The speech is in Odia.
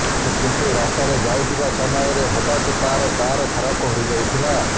କିନ୍ତୁ ରାସ୍ତାରେ ଯାଉଥିବା ସମୟରେ ହଠାତ୍ ତାର କାର ଖରାପ ହୋଇଯାଇଥିଲା